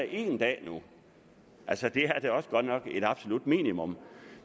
en dag altså det er da også godt nok et absolut minimum